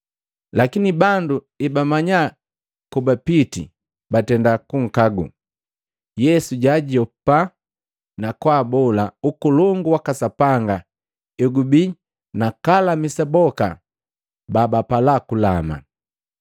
Lakini bandu ebamanya kobapiti, batenda kunkagu. Yesu jaajopa, na kwaabola Ukolongu waka Sapanga egubii nakalamisa boka babapala kulama.